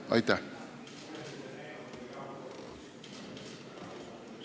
Aitäh!